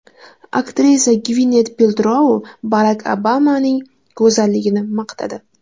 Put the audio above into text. Aktrisa Gvinet Peltrou Barak Obamaning go‘zalligini maqtadi.